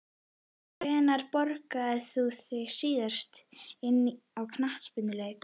Hvenær borgaðir þú þig síðast inn á knattspyrnuleik?